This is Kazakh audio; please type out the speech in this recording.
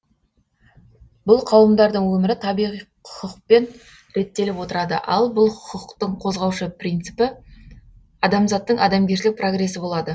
бұл қауымдардың өмірі табиғи хұқпен реттеліп отырады ал бұл хұқтың қозғаушы принципі адамзаттың адамгершілік прогрессі болады